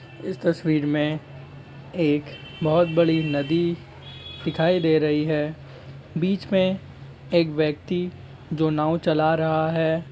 इस तस्वीर में एक बहोत बड़ी नदी दिखाइ दे रही है बीच में एक व्यक्ति जो नाव चला रहा है।